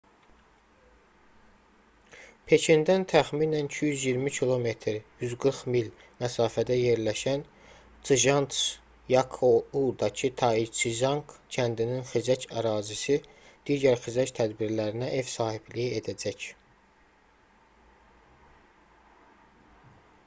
pekindən təxminən 220 km 140 mil məsafədə yerləşən çjantzyakoudaki taiziçanq kəndinin xizək ərazisi digər xizək tədbirlərinə ev sahibliyi edəcək